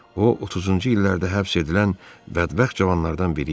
O 30-cu illərdə həbs edilən bədbəxt cavanlardan biri idi.